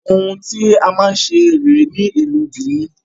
Ohun tí a máa ń ṣe rèé ní ìlú bìíní.